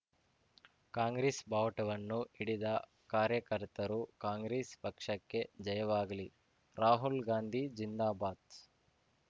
ಕಾಂಗ್ರೆಸ್ ಬಾವುಟವನ್ನು ಹಿಡಿದ ಕಾರ್ಯಕರ್ತರು ಕಾಂಗ್ರೆಸ್ ಪಕ್ಷಕ್ಕೆ ಜಯವಾಗಲಿ ರಾಹುಲ್ ಗಾಂಧಿ ಜಿಂದಾಬಾದ್